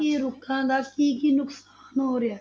ਕਿ ਰੁੱਖਾਂ ਦਾ ਕੀ ਕੀ ਨੁਕਸਾਨ ਹੋ ਰਿਹਾ ਹੈ?